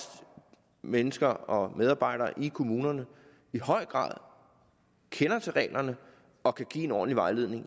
at mennesker og medarbejdere i kommunerne i høj grad kender til reglerne og kan give en ordentlig vejledning